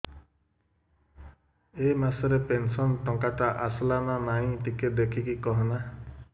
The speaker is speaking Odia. ଏ ମାସ ରେ ପେନସନ ଟଙ୍କା ଟା ଆସଲା ନା ନାଇଁ ଟିକେ ଦେଖିକି କହନା